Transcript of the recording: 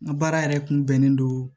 N ka baara yɛrɛ kun bɛnnen don